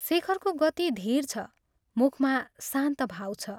शेखरको गति धीर छ मुखमा शान्त भाव छ।